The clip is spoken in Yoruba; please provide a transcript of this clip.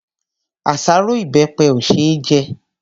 Àṣárọ́ ìbẹpẹ ò ṣe é jẹ.